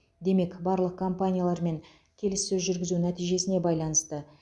демек барлық компаниялармен келіссөз жүргізу нәтижесіне байланысты